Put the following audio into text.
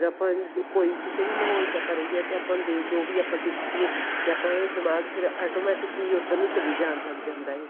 ਆਪਾਂ ਕੋਈ ਕਿਸੇ ਵੀ ਮਾਹੋਲ ਚ ਆਪਾਂ ਰਹੀਏ ਤੇ ਆਪਾਂ ਨੂੰ ਦੇ ਜੋ ਵੀ ਆਪਾਂ ਦੇਖੀਏ ਤੇ ਆਪਾਂ ਦਿਮਾਗ ਫਿਰ automatic ਹੀ ਉੱਧਰ ਨੂੰ ਚਲੀ ਜਾਣ ਲੱਗ ਜਾਂਦਾ ਐ